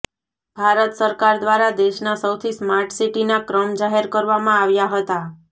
ભારત સરકાર દ્વારા દેશના સૌથી સ્માર્ટ સીટીના ક્રમ જાહેર કરવામાં આવ્યા હતા